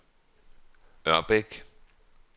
Ørbæk